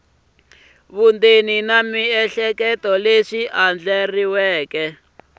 vundzeni na miehleketo swi andlariweke